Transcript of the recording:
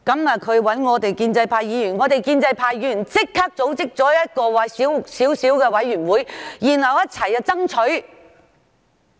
他找建制派議員幫忙，我們立即組織了一個規模細小的委員會，一起為這件事爭取。